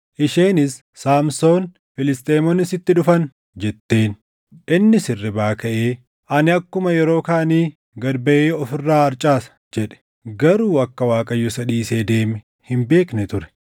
Isheenis, “Saamsoon, Filisxeemonni sitti dhufan!” jetteen. Innis hirribaa kaʼee, “Ani akkuma yeroo kaanii gad baʼee of irraa harcaasa” jedhe. Garuu akka Waaqayyo isa dhiisee deeme hin beekne ture.